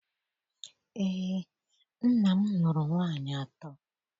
Eé, nna m lụrụ nwaanyị atọ.